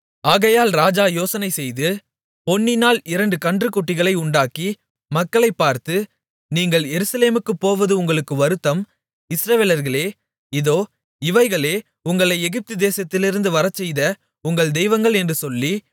ஆகையால் ராஜா யோசனைசெய்து பொன்னினால் இரண்டு கன்றுக்குட்டிகளை உண்டாக்கி மக்களைப் பார்த்து நீங்கள் எருசலேமுக்குப் போவது உங்களுக்கு வருத்தம் இஸ்ரவேலர்களே இதோ இவைகளே உங்களை எகிப்து தேசத்திலிருந்து வரச்செய்த உங்கள் தெய்வங்கள் என்று சொல்லி